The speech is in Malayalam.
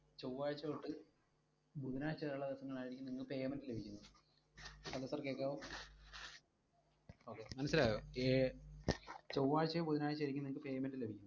ചൊവ്വാഴ്ച തൊട്ടു ബുധനാഴ്ചവരെയുള്ള ദിവസങ്ങളിലായിരിക്കും നിങ്ങൾക്ക് payment ലഭിക്കുന്നത്. Hello sir കേക്കാവോ? okay മനസ്സിലായോ? ഏർ ചൊവ്വാഴ്ചയോ ബുധനാഴ്ചയോ ആയിരിക്കും നിങ്ങൾക്കു payment ലഭിക്കുന്നത്.